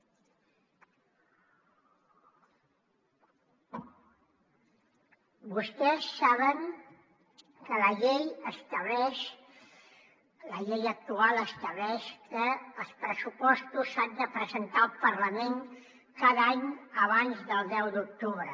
vostès saben que la llei actual estableix que els pressupostos s’han de presentar al parlament cada any abans del deu d’octubre